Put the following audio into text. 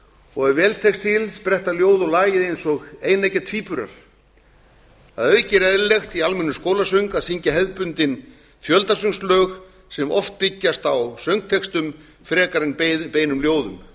og ef vel tekst til spretta ljóð og lagið eins og eineggja tvíburar að auki er eðlilegt í almennum skólasöng að syngja hefðbundin fjöldasöngslög sem oft byggjast á söngtextum frekar en beinum ljóðum